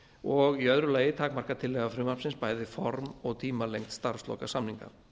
og í öðru lagi takmarkar tillaga frumvarpsins bæði form og tímalengd starfslokasamninga